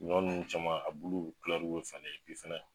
Ɲɔ ninnu caman a bulu bi kulɛruw be falen ani fɛnɛ